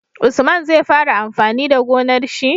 Usman zai fara amfani da gonar shi